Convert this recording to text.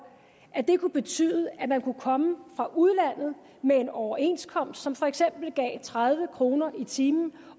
at det kunne betyde at man kunne komme fra udlandet med en overenskomst som for eksempel gav tredive kroner i timen